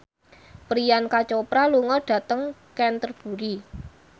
Priyanka Chopra lunga dhateng Canterbury